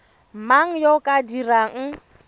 mang yo o ka dirang